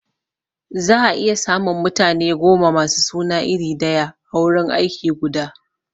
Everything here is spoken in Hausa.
Za a iya samun mutane goma masu suna iri daya a wurin aiki guda